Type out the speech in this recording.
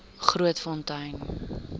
grootfontein